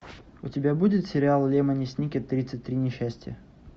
у тебя будет сериал лемони сникет тридцать три несчастья